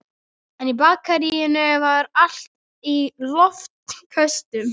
En í Bakaríinu var allt í loftköstum.